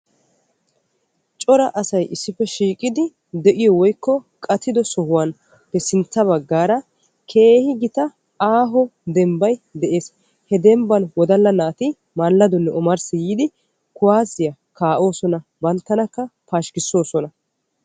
Cora asay issippe de'iyo woykko qattiddo sohuwan sintta bagaara keehi gita aaho dembbay de'ees he dembbam wodalla maladonne omarssi yiidi kuwasiya kaa'osonna banttanakka pashkkisosonna.